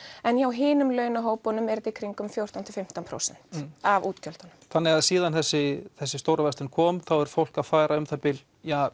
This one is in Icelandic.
en hjá hinum launahópunum í kringum fjórtán til fimmtán prósent af útgjöldum þannig að síðan þessi þessi stórverslun kom þá er fólk að fara með um það bil